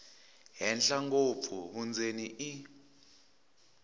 henhla ngopfu vundzeni i